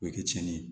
O ye cɛnni ye